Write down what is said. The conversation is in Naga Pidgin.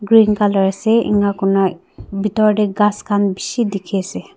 green colour ase enakurina bitor te ghas khan bishi dikhi ase.